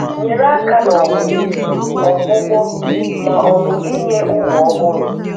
Nyere aka n'ọmụmụ, ọgwụgwọ, ma ọ bu ịnye ụmụ ọhụrụ